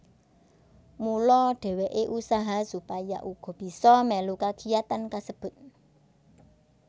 Mula dheweke usaha supaya uga bisa melu kagiyatan kasebut